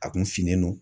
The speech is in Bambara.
A kun finnen don